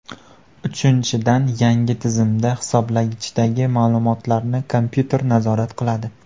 Uchinchidan, yangi tizimda hisoblagichdagi ma’lumotlarni kompyuter nazorat qiladi.